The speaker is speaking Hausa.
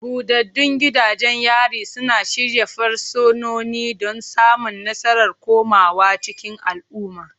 Buɗaɗɗun gidajen yari suna shirya fursunoni don samun nasarar komawa cikin al'umma.